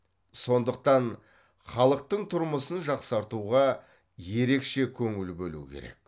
сондықтан халықтың тұрмысын жақсартуға ерекше көңіл бөлу керек